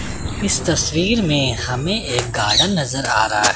इस तस्वीर में हमें एक गार्डन नजर आ रहा--